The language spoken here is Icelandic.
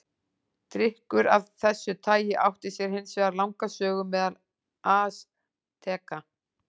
Drykkur af þessu tagi átti sér hins vegar langa sögu meðal Asteka.